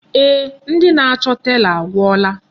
Eeh, ndị na-achọ tela agwụla.